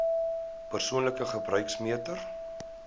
persoonlike gebruik meter